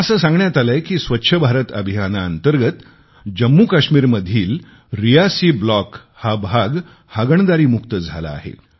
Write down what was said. मला असे सांगण्यात आलेय की स्वच्छ भारत अभियानाअंतर्गत जम्मूकाश्मीरमधील रियासी ब्लॉक हा भाग हगणदरीमुक्त झाला आहे